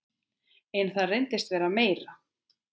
En það reynist vera meira.